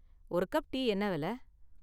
ஒரு cup tea என்ன விலை?